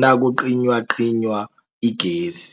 nakucinywacinywa igezi.